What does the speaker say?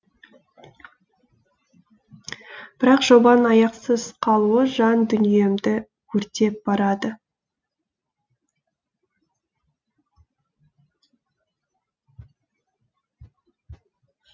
бірақ жобаның аяқсыз қалуы жан дүниемді өртеп барады